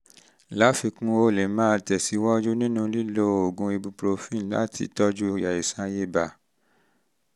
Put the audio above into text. um láfikún o lè máa tẹ̀síwájú nínú lílo oògùn ibuprofen láti tọ́jú àìsàn ibà